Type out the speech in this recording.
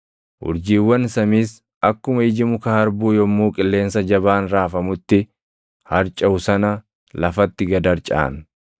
urjiiwwan samiis akkuma iji muka harbuu yommuu qilleensa jabaan raafamutti harcaʼu sana lafatti gad harcaʼan.